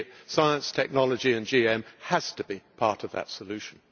Science, technology and GM have to be part of that solution.